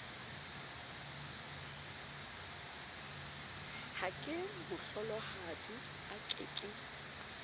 ha kemohlolohadi a ke ke